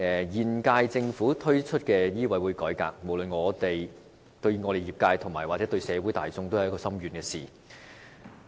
現屆政府推出的香港醫務委員會改革，無論對業界或社會也造成深遠影響。